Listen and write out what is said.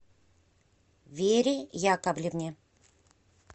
вере яковлевне